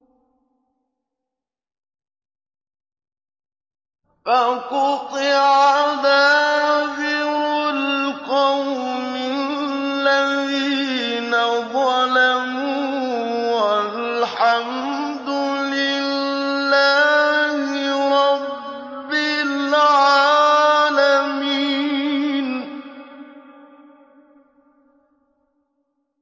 فَقُطِعَ دَابِرُ الْقَوْمِ الَّذِينَ ظَلَمُوا ۚ وَالْحَمْدُ لِلَّهِ رَبِّ الْعَالَمِينَ